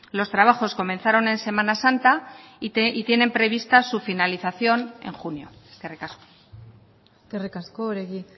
los trabajos comenzaron en semana santa y tienen prevista su finalización en junio eskerrik asko eskerrik asko oregi